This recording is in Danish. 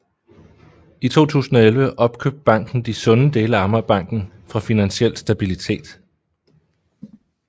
I 2011 opkøbte banken de sunde dele af Amagerbanken fra Finansiel Stabilitet